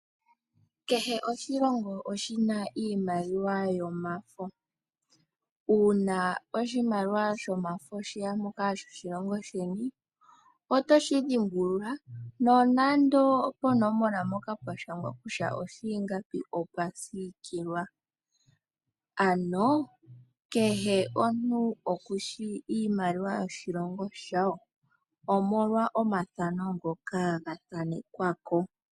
Kehe oshilongo oshi na iimaliwa yomafo. Uuna oshimaliwa shefo shoshilongo sheni sheya mpoka, oto shi dhimbulula, nonando ponomola mpoka pwa shangwa kutya osha ingapi opu kale pwa siikilwa. Ano kehe omuntu okushi iimaliwa yoshilongo shawo, omolwa omathano ngoka ga thanekwa ko.